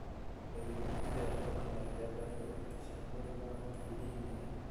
Mĩrimũ ĩrĩa yonanagia dariri ta cia mũrimũ wa TB nĩ: